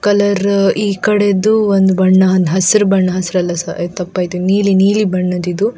colour ಈ ಕಡೆದು ಒಂದು ಬಣ್ಣ ಹಸಿರು ಬಣ್ಣ ಹಸಿರಲ್ಲ ತಪ್ಪಾಯ್ತು ನೀಲಿ ನೀಲಿ ಬಣ್ಣದ್ದು ಇದು --